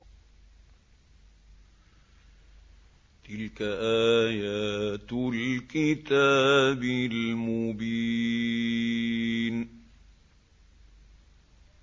تِلْكَ آيَاتُ الْكِتَابِ الْمُبِينِ